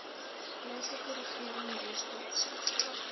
plaaslike regering weskaapse